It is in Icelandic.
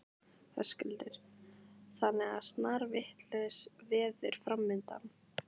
Höskuldur: Þannig að snarvitlaust veður framundan?